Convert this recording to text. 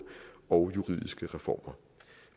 og juridiske reformer